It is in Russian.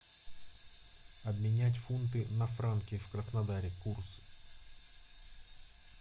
обменять фунты на франки в краснодаре курс